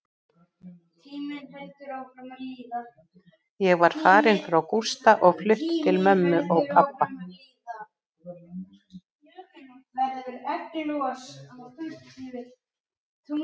Ég var farin frá Gústa og flutt til mömmu og pabba.